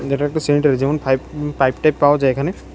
এটা একটা সেনিরারি যেমন ফাইভ পাইপ টাইপ পাওয়া যায় এখানে।